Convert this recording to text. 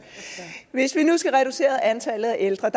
hvis vi nu skal reducere antallet af ældre